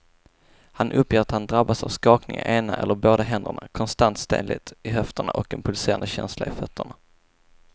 Han uppger att han drabbas av skakningar i ena eller båda händerna, konstant stelhet i höfterna och en pulserande känsla i fötterna.